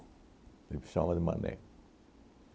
Ele me chama de maneco.